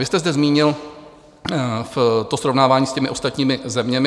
Vy jste zde zmínil to srovnávání s těmi ostatními zeměmi.